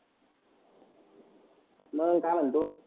मग काय म्हणतो.